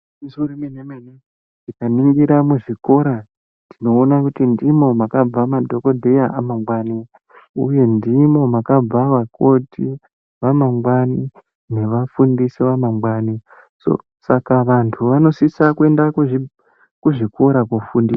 Igwinyiso remene mene tikaningira muzvikora tinoona kuti ndimo makabva madhokodheya amangwani uye ndimo makabva vakoti vamangwani nevafundisi vamangwani Saka vantu vanosisa kuenda kuzvikora kofundiswa.